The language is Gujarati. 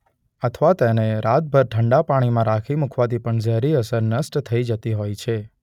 અથવા તેને રાતભર ઠંડા પાણીમાં રાખી મુકવાથી પણ ઝેરી અસર નષ્ટ થઇ જતી હોય છે.